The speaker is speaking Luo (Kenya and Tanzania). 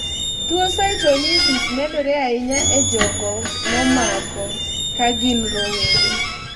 tuo cystonisis medore ahinya e jogo momako kagin rowere